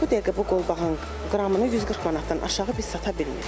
Bu dəqiqə bu qolbağın qramını 140 manatdan aşağı biz sata bilmirik.